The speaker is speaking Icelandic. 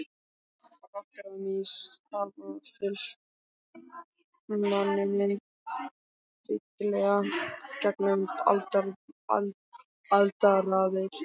Rottur og mýs hafa fylgt manninum dyggilega gegnum aldaraðir.